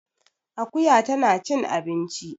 Akuya tana cin abinci